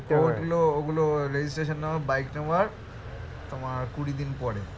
ওগুলো ওগুলো registration number bike নেওয়ার তোমার কুড়ি দিন পরে